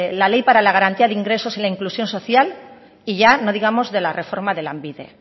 la ley para la garantía de ingresos y para la inclusión social y ya no digamos la reforma de lanbide